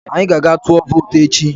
Anyị ga-aga tụọ vootu echi